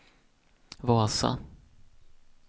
Vasa